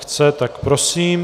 Chce, tak prosím.